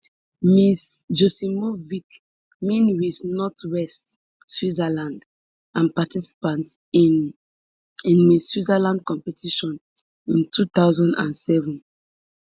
ms joksimovic win miss northwest switzerland and participant in in miss switzerland competition in two thousand and seven